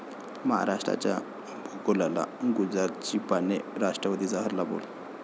महाराष्ट्राच्या भूगोलाला गुजरातची पाने? राष्ट्रवादीचा हल्लाबोल